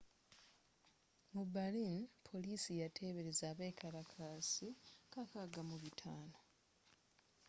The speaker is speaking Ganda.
mu berlin poliisi yatebereza abekalakaasi 6500